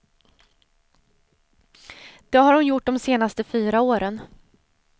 Det har hon gjort de senaste fyra åren.